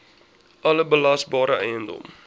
alle belasbare eiendom